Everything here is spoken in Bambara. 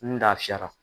N lafiyara